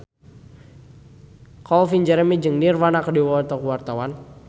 Calvin Jeremy jeung Nirvana keur dipoto ku wartawan